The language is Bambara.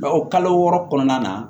Bawo kalo wɔɔrɔ kɔnɔna na